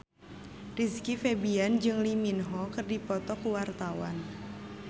Rizky Febian jeung Lee Min Ho keur dipoto ku wartawan